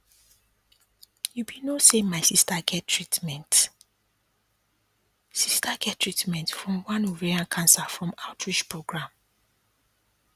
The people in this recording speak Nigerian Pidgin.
you be no say my sister get treatment sister get treatment from one ovarian cancer from outreach program